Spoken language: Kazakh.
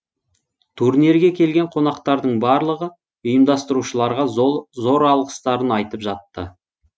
турнирге келген қонақтардың барлығы ұйымдастырушыларға зор алғыстарын айтып жатты